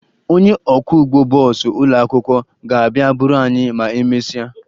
Onye ọkwọụgbọ bọọsụ ụlọakwụkwọ ga-abịa buru anyị ma emesịa